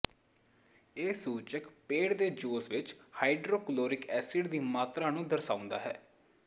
ਇਹ ਸੂਚਕ ਪੇਟ ਦੇ ਜੂਸ ਵਿਚ ਹਾਈਡ੍ਰੋਕਲੋਰਿਕ ਐਸਿਡ ਦੀ ਮਾਤਰਾ ਨੂੰ ਦਰਸਾਉਂਦਾ ਹੈ